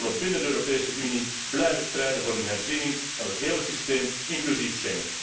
Wij zullen binnen de Europese Unie blijven strijden voor een herziening van het hele systeem, inclusief Schengen.